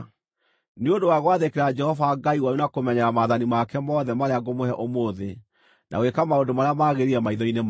nĩ ũndũ wa gwathĩkĩra Jehova Ngai wanyu na kũmenyerera maathani make mothe marĩa ngũmũhe ũmũthĩ, na gwĩka maũndũ marĩa magĩrĩire maitho-inĩ make.